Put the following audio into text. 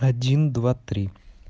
один два три